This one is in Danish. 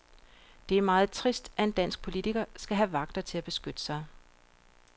Det er meget trist, at en dansk politiker skal have vagter til at beskytte sig.